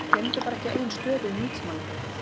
Gleymdu bara ekki eigin stöðu í nútímanum.